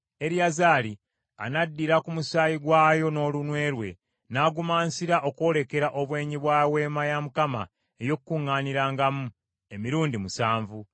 Eriyazaali anaddiranga ku musaayi gwayo n’olunwe lwe n’agumansira okwolekera obwenyi bwa Weema ey’Okukuŋŋaanirangamu emirundi musanvu.